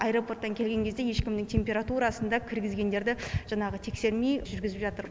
аэропорттан келген кезде ешкімнің температурасын да кіргізгендерді жаңағы тексермей жүргізіп жатыр